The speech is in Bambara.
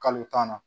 Kalo tan na